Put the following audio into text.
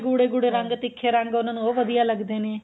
ਗੂੜ੍ਹੇ ਗੂੜ੍ਹੇ ਰੰਗ ਤੀਖ਼ੇ ਰੰਗ ਉਹਨਾ ਨੂੰ ਉਹ ਵਧੀਆਂ ਲੱਗਦੇ ਨੇ